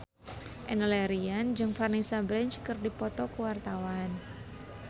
Enno Lerian jeung Vanessa Branch keur dipoto ku wartawan